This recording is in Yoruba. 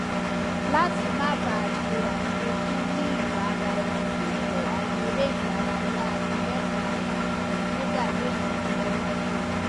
láti má ba ṣe àṣekùn níibaraenilopo àwọn eré ìdárayá ikẹkọ ara àti yoga lè ràn ẹ lọwọ